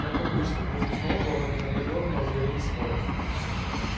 как обычно между сноуболлом и наполеоном разгорелись споры